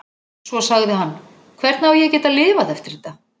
Svo sagði hann: Hvernig á ég að geta lifað eftir þetta?